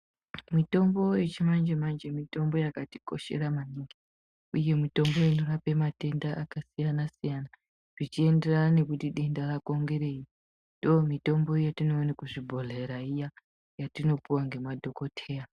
Mitombo yechimanje-manje mitombo yakatikoshera maningi uye mitombo inorape matenda yakasiyana-siyana zvichienderana nekuti denda rako ngerei. Ndoomitombo yatinoone kuzvibhihera iya, yatinopiwa ngemadhokoteya.